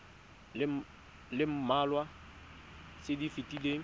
le mmalwa tse di fetileng